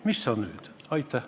Mis sa nüüd!